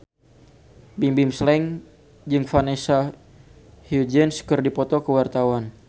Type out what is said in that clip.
Bimbim Slank jeung Vanessa Hudgens keur dipoto ku wartawan